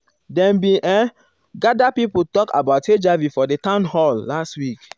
dem bin ehm um gather pipo talk about hiv for di town hall last week.